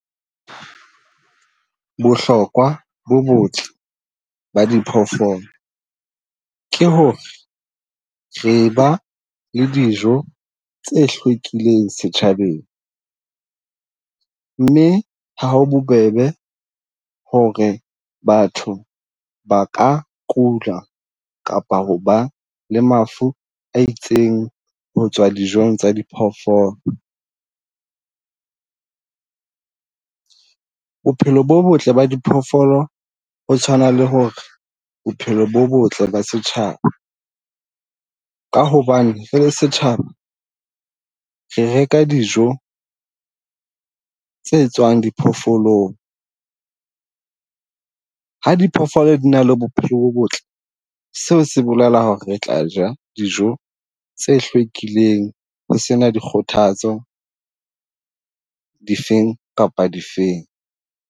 Bohlokwa bo botle ba di phoofolo ke ho re re ba le dijo tse hlwekileng setjhabeng. Mme ha ho bobebe ho re batho ba ka kula kapa ho ba le mafu a itseng ho tswa dijong tsa di phoofolo. Bophelo bo botle ba diphoofolo ho tshwana le ho re bophelo bo botle ba setjhaba. Ka hobane rele setjhaba re reka dijo tse tswang diphoofolong. Ha diphoofolo di na le bophelo bo botle, seo se bolela ho re re tla ja dijo tse hlwekileng ho sena di kgothatso di feng kapa di feng.